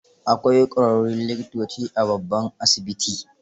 Akwai ƙwararrun likitoci a babban asibiti.